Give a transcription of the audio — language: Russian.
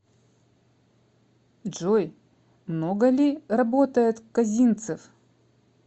джой много ли работает козинцев